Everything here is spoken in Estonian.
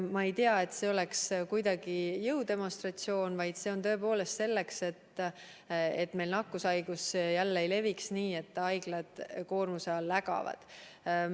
Ma ei tea, et see oleks kuidagi jõudemonstratsioon, vaid see on tõepoolest selleks, et meil nakkushaigus jälle ei leviks, nii et haiglad koormuse all ägavad.